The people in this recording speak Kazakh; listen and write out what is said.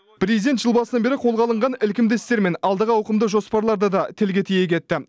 президент жыл басынан бері қолға алынған ілкімді істер мен алдағы ауқымды жоспарларды да тілге тиек етті